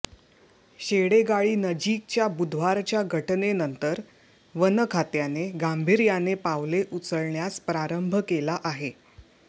शेडेगाळीनजीकच्या बुधवारच्या घटनेनंतर वनखात्याने गांभीर्याने पावले उचलण्यास प्रारंभ केला आहे